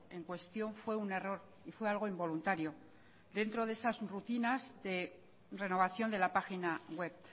en cuestión fue un error y fue algo involuntario dentro de esas rutinas de renovación de la página web